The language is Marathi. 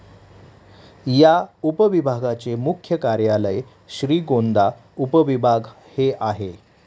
या उपविभागाचे मुख्य कार्यालय श्रीगोंदा उपविभाग हे आहे.